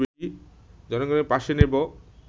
জনগণের পাশে নেব